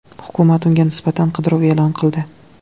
Hukumat unga nisbatan qidiruv e’lon qildi.